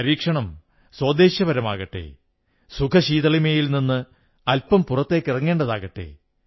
പരീക്ഷണം സോദ്ദേശ്യപരമാകട്ടെ സുഖശീതളിമയിൽ നിന്ന് അൽപം പുറത്തേക്കിറങ്ങേണ്ടതാകട്ടെ